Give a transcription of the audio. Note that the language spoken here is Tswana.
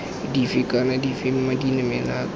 dife kana dife dimela kana